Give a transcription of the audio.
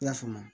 I y'a faamu